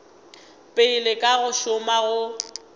pele ka go šoma go